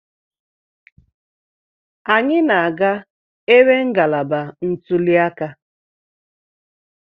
Anyị na-aga ebe ngalaba ntuli aka.